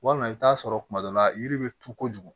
Walima i bi t'a sɔrɔ kuma dɔ la yiri bɛ turu kojugu